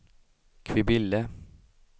Kvibille